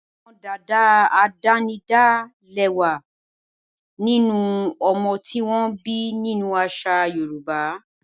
Àwọn dad àdánidá lè wà nínú ọmọ tí wọ́n bí nínú àṣà Yorùbá.